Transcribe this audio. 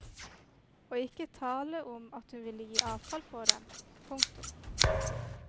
Og ikke tale om at hun ville gi avkall på dem. punktum